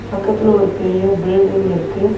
பக்கத்துல ஒரு பெரிய பில்டிங் இருக்கு.